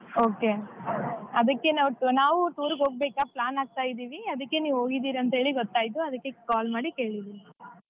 Okay ಅದಕ್ಕೇ ನಾವ್ ನಾವು tour ಹೋಗ್ಬೇಕಾ plan ಹಾಕ್ತಾ ಇದ್ದೀವಿ ಅದಿಕ್ಕೆ ನೀವ್ ಹೋಗಿದೀರಿ ಅಂತೇಳಿ ಗೊತ್ತಾಯ್ತು ಅದಕ್ಕೆ call ಮಾಡಿ ಕೇಳಿದ್ದೀನಿ.